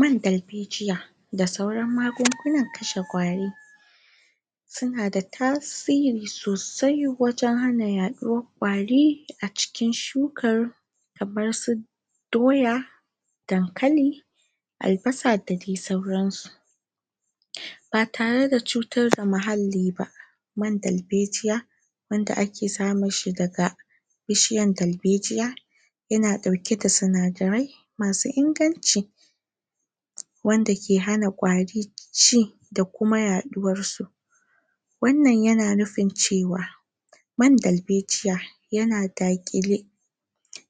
Man dalbejiya da sauran magungunan kashe kwari sunada tasiri sosai wajen hana yaɗuwar kwari a cikin shukar kamar su doya dakalli albasa da dai sauransu ba tareda cutarda muhalli ba man dalbejiya wanda ake samunshi daga bishiyan dalbejiya yana ɗaukeda sinadarai masu inganci wanda ke hana ƙwari ci da Kuma yaɗuwarsu wannan yana nufin cewa man dalbejiya yana daƙile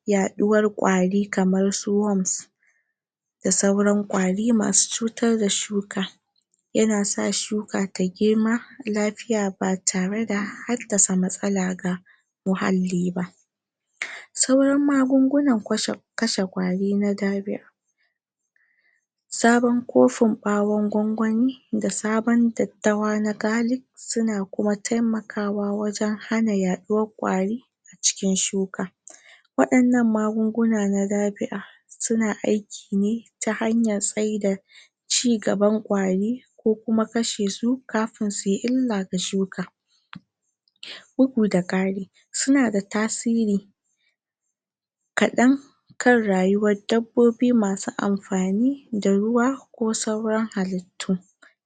yaɗuwar ƙwari kamar su worms da sauran ƙwari masu cutar da shuka yanasa shuka ta girma lafiya Lau batareda haddasa matsala ga muhalli ba magungunan kashe ƙwari na ɗabiʼa Sabon kofin ɓawon gwangwani da sabon daddawa na garlic suna taimakawa wajen hana yaɗuwar kwari a cikin shuka wadannan magungunan na ɗabiʼa suna aikine ta hanyar tsaida cigaban ƙwari ko Kuma kashesu kamun suyi illa ga shuka bugu da kari sunada tasiri kadan kan rayuwar dabbobi masu anfani da ruwa ko sauran halittu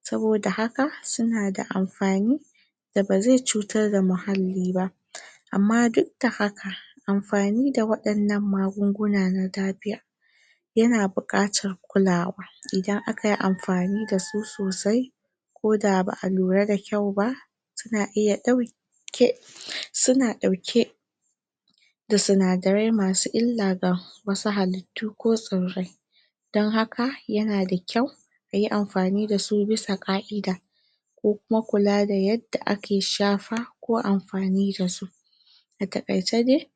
saboda haka sunada anfani da bazai cutar da muhalli ba Amma duk da haka anfani da waɗannan magunguna na dabiʼa yana bukatar kulawa Idan akayi anfani da su sosai koda baʼa lura dakyau ba? suna dauke sinadarai masu illa ga halittu ko tsirrai don haka Yanada kyau Ayi anfani dasu bisa kaʼida ko Kuma kulada yanda ake shafa ko anfani da su a taƙaice dai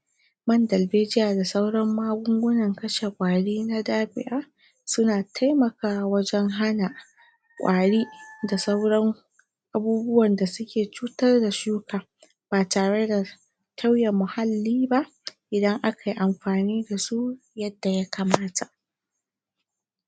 man dalbejiya da sauran magungunan kashe ƙwari na ɗabiʼa suna taimakawa wajen hana ƙwari da sauran abubuwan da suke cutar da shuka ba tare da tauye muhalli ba Idan akayi anfani dasu yanda yakamata.